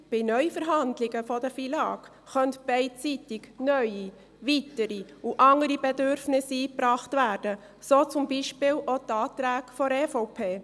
Allein bei Neuverhandlungen über die FILAG könnten beidseitig neue, weitere und andere Bedürfnisse eingebracht werden, so zum Beispiel auch die Anträge der EVP.